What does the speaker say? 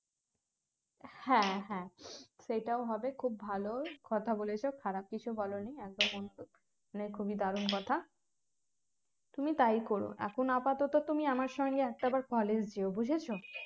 হ্যাঁ হ্যাঁ সেটাও হবে খুব ভালো কথা বলেছ খারাপ কিছু বলনি এক খুবই দারুণ কথা তুমি তাই করো এখন আপাতত তুমি আমার সঙ্গে বুঝেছ